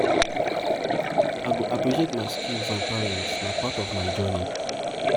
i go appreciate my skills and talents; na part of my journey.